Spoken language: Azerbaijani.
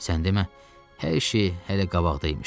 Sən demə, hər şey hələ qabaqda imiş.